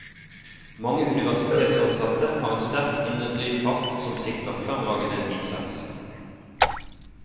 Mange universitetsansatte har en sterk indre drivkraft som sikrer fremragende innsats.